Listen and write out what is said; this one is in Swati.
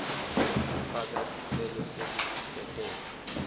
kufaka sicelo sekuvusetelwa